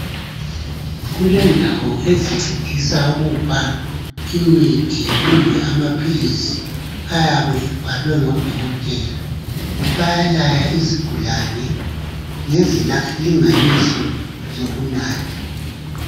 Kulendawo ezincedisa ukupha imithi kumbe amaphilizi ayabe ebhalwe ngodokotela. Bayalaya izigulane ngezilinganiso zokunatha.